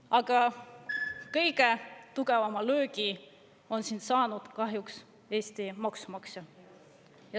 Aga kõige tugevama löögi on saanud kahjuks Eesti maksumaksja.